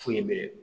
Foyi bɛ